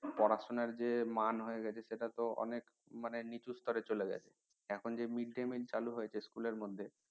পড়াশুনার যে ম্যান হয়ে গেছে সেটা তো অনেক মানে নিচু স্টারে চলে গেছে এখন যে mid day mill চালু হয়েছে school এর মধ্যে